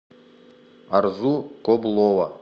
арзу коблова